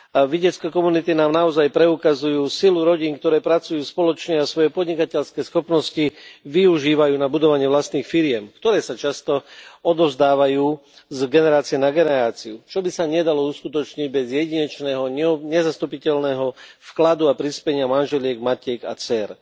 Vidiecke komunity nám naozaj preukazujú silu rodín, ktoré pracujú spoločne a svoje podnikateľské schopnosti využívajú na budovanie vlastných firiem, ktoré sa často odovzdávajú z generácie na generáciu, čo by sa nedalo uskutočniť bez jedinečného, nezastupiteľného vkladu a prispenia manželiek, matiek a dcér.